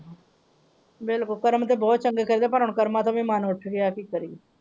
ਬਿਲਕੋਲ ਕਰਮ ਤਾਂ ਬਹੁਤ ਚੰਗੇ ਚਾਹੀਦੇ ਪਰ ਹੁਣ ਕਰਮਾ ਤੋਂ ਵੀ ਮਨ ਉੱਠ ਗਿਆ ਹੈ ਕਿ ਕਾਰੀਏ।